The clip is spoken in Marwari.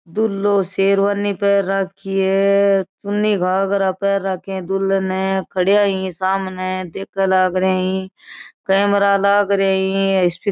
दूल्हों शेरवानी पेर राखी है चुन्नी घागरा पेर राखी है दुल्हन ने और खडेया यही सामने देखन लागरई कैमरा लागरई --